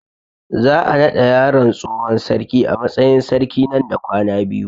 Za a naɗa yaron tsohon sarki a matsayin sarki nan da kwana biyu